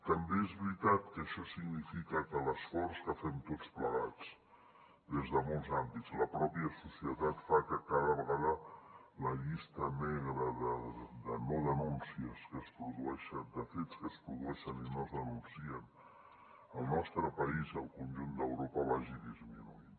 també és veritat que això significa que l’esforç que fem tots plegats des de molts àmbits la pròpia societat fa que cada vegada la llista negra de no denúncies que es produeixen de fets que es produeixen i no es denuncien al nostre país i al conjunt d’europa vagi disminuint